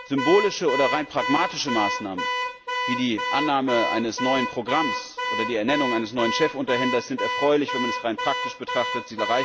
Symbolische oder rein pragmatische Maßnahmen wie die Annahme eines neuen Programms oder die Ernennung eines neuen Chefunterhändlers sind erfreulich, wenn man das rein praktisch betrachtet.